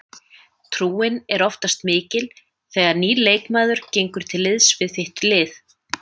Trúin er oftast mikil þegar nýr leikmaður gengur til liðs við þitt lið.